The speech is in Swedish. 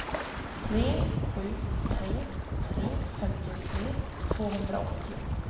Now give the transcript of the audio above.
tre sju tre tre femtiotre tvåhundraåttio